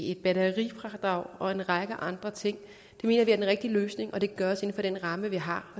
et batterifradrag og til en række andre ting er den rigtige løsning det kan gøres inden for den ramme vi har